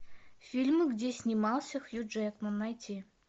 фильмы где снимался хью джекман найти